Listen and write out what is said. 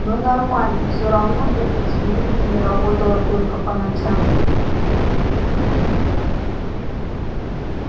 но нормально все равно это телевидение работало только по ночам